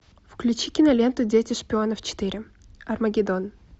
включи киноленту дети шпионов четыре армагеддон